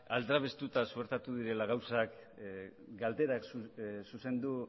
aldrebestuta suertatu direla gauzak galdera zuzendu